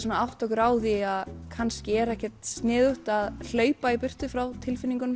að átta okkur á því að kannski er ekkert sniðugt að hlaupa í burtu frá tilfinningunum